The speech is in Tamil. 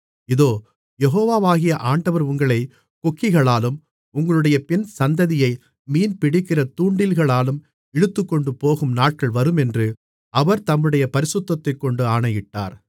இதோ யெகோவாகிய ஆண்டவர் உங்களை கொக்கிகளாலும் உங்களுடைய பின் சந்ததியை மீன்பிடிக்கிற தூண்டில்களாலும் இழுத்துக்கொண்டுபோகும் நாட்கள் வருமென்று அவர் தம்முடைய பரிசுத்தத்தைக்கொண்டு ஆணையிட்டார்